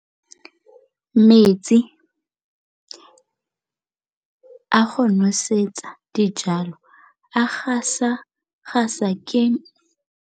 Metsi a go nosetsa dijalo a gasa gasa ke kgogomedi ya masepala.